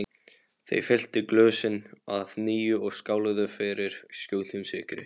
Þeir fylltu glösin að nýju og skáluðu fyrir skjótum sigri.